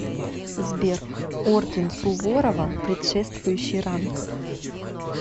сбер орден суворова предшествующий ранг